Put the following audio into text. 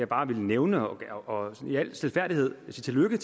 bare ville nævne og i al stilfærdighed sige tillykke